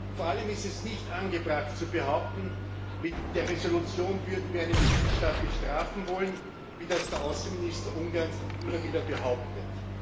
Und vor allem ist es nicht angebracht, zu behaupten, mit der Entschließung würden wir einen Mitgliedstaat bestrafen wollen, wie das der Außenminister Ungarns immer wieder behauptet.